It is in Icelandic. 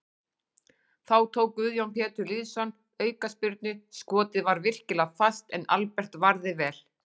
Þá tók Guðjón Pétur Lýðsson aukaspyrnu, skotið var virkilega fast en Albert varði vel.